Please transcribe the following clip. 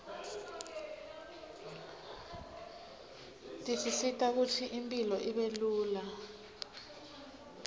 tisisita kutsi impilo ibelula